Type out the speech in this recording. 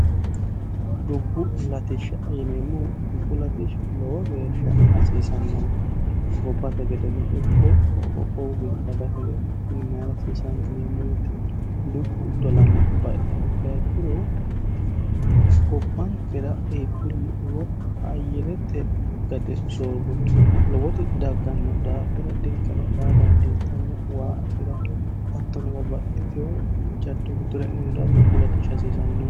dubbu latishsha yineemmo dubbu latishi lowo geeshsha hasiisannonke gobbate gedeno ikko qoqqowu giddo dagate gedeno kuni mayira hasiisaanonike yineemmo woyte dubbu dolame baiha ikkaha ikkiro gobbaankira iibbilu woy ayyirete gade soorro lowoti dagganno daafira dirqeno daa dandiittanno waa afira hattono babbaxxitiho jaddo giddora e'neemo daafo dubbu latishsh hasiisanno